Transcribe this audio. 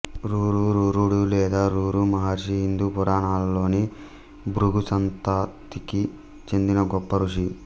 రురు రురుడు లేదా రురు మహర్షి హిందూ పురాణాలలోని భృగు సంతతికి చెందిన గొప్ప ఋషి